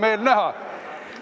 Hea meel näha!